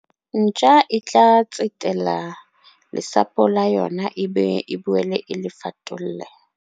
ntja e tla tsetela lesapo la yona ebe e boele e le fatolle